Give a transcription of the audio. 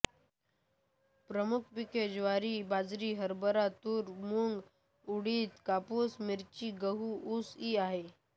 प्रमुख पिके ज्वारी बाजरी हरभरा तूर मूग उडीद कापूस मिरची गहू ऊस ई आहेत